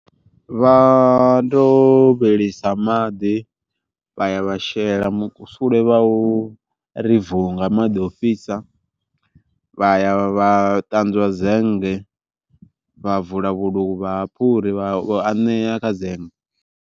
Vha ndo vhilisa maḓi vha ya vha shela mukusule vha u ri vu nga maḓi ofhisa, vha ya vha ṱanzwa zenge vha vula vhuluvha ha phuri vha ya vha anea kha zenge.